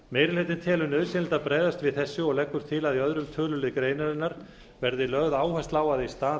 meiri hlutinn telur nauðsynlegt að bregðast við þessu og leggur til að í öðrum tölulið greinarinnar verði lögð áhersla